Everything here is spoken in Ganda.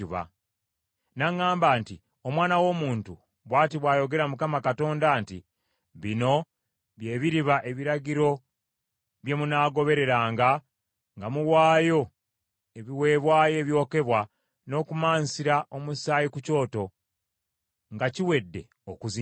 N’aŋŋamba nti, “Omwana w’omuntu, bw’ati bw’ayogera Mukama Katonda nti; Bino bye biriba ebiragiro bye munaagobereranga nga muwaayo ebiweebwayo ebyokebwa n’okumansira omusaayi ku Kyoto, nga kiwedde okuzimbibwa.